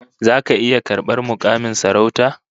Zaka iya karbar mukamin sarauta?